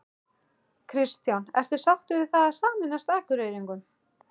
Kristján: Ertu sáttur við það að sameinast Akureyringum?